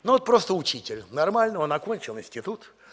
ну вот просто учитель нормально он окончил институт